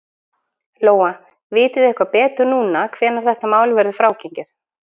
Lóa: Vitið þið eitthvað betur núna hvenær þetta mál verður frágengið?